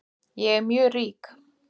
Ég er mjög rík